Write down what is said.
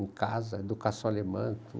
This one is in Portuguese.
Em casa, educação alemã,